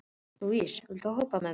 Líus, viltu hoppa með mér?